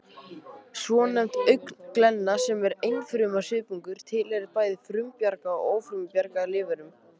Svonefnd augnglenna, sem er einfruma svipungur, tilheyrir bæði frumbjarga og ófrumbjarga lífverum